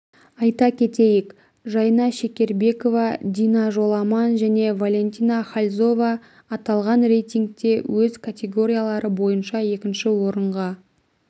айта кетейік жайна шекербекова дина жоламан және валентина хальзова аталған рейтингте өз категориялары бойынша екінші орынға